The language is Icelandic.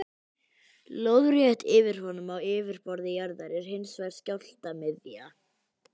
Lóðrétt yfir honum á yfirborði jarðar er hins vegar skjálftamiðja.